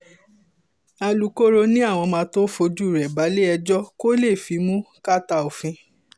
alūkkóró ni àwọn máa tóó fojú rẹ balẹ̀-ẹjọ́ kó lè fimú kàtà òfin